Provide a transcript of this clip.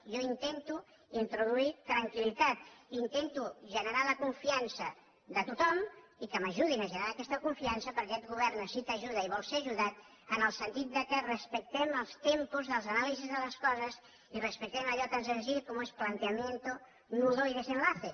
jo intento introduir tranquil·litat intento generar la confiança de tothom i que m’ajudin a generar aquesta confiança perquè aquest govern necessita ajuda i vol ser ajudat en el sentit que respectem els tempos de les anàlisis de les coses i respectem allò tan senzill com és planteamiento nudo y desenlace